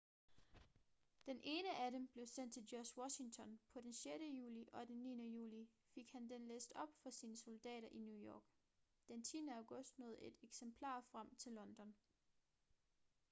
den ene af dem blev sendt til george washington på den 6. juli og den 9. juli fik han den læst op for sine soldater i new york den 10. august nåede et eksemplar frem til london